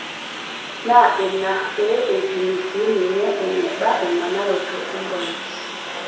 Naa ina pee eipimi sii ninye eneba emanaroto empolos.